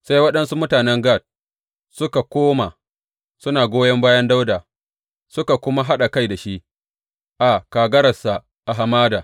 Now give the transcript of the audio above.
Sai waɗansu mutanen Gad suka koma suna goyon bayan Dawuda suka kuma haɗa kai da shi a kagararsa a hamada.